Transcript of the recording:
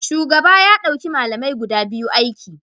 Shugaba ya dauki malamai guda biyu aiki